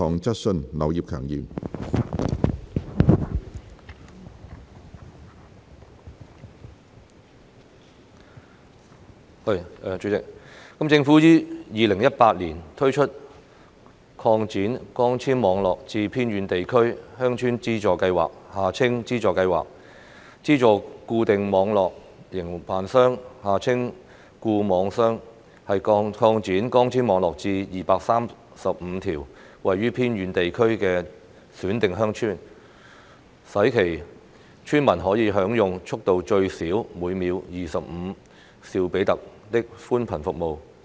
主席，政府於2018年推出擴展光纖網絡至偏遠地區鄉村資助計劃，資助固定網絡營辦商擴展光纖網絡至235條位於偏遠地區的選定鄉村，使其村民可享用速度最少每秒25兆比特的寬頻服務。